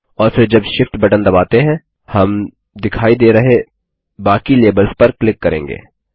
और फिर जब Shift बटन दबाते हैं हम दिखाई दे रहे बाकी लेबल्स पर क्लिक करेंगे